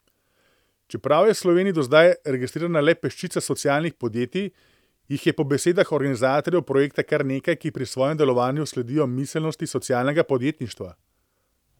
Čeprav je Sloveniji do zdaj registrirana le peščica socialnih podjetij, jih je po besedah organizatorjev projekta kar nekaj, ki pri svojem delovanju sledijo miselnosti socialnega podjetništva.